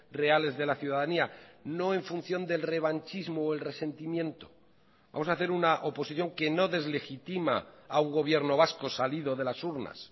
reales de la ciudadanía no en función del revanchismo o el resentimiento vamos a hacer una oposición que no deslegitima a un gobierno vasco salido de las urnas